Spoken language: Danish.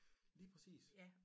Lige præcis